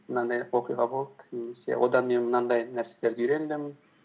мынандай оқиға болды немесе одан мен мынандай нәрселерді үйрендім